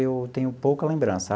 Eu tenho pouca lembrança.